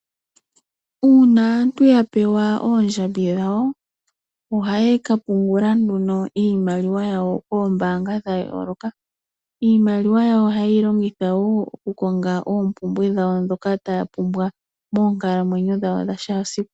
Uuna aantu ya pewa oondjambi dhawo, ohaya ka pungula nduno iimaliwa yawo koombaanga dha yooloka. Iimaliwa yawo ohaye yi longitha wo okukonga oompumbwe dhawo ndhoka taya pumbwa moonkalamwenyo dhawo dha kehe esiku.